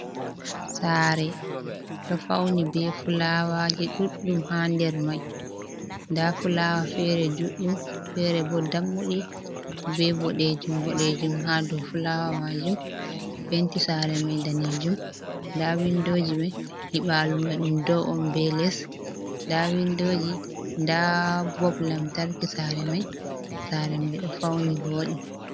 Saare ɗo fauni be fulawaji ɗuɗɗum haa der mai, nda fulawa feere juɗɗum feere bo dammudum be bodejum bodejum ha dow fulawa majum. Penti saare mai danejum, nda windoji mai. Nyibalo mai ɗum dow on be les, nda windoji, nda bob lam tarki saare mai, saare mai ɗo fauni voɗi.